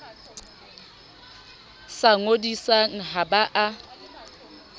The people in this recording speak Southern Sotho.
sa ngodisang ha ba a